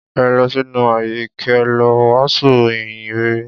Ẹ lọ sínú ayé kẹ lọ wàásù ìhìn rere.